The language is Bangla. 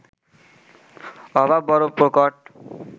অভাব বড় প্রকট